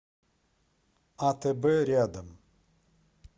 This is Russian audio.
атб рядом